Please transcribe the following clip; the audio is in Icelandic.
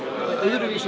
öðruvísi